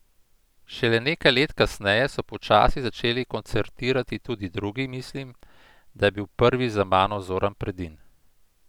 Šele nekaj let kasneje so počasi začeli koncertirati tudi drugi, mislim, da je bil prvi za mano Zoran Predin.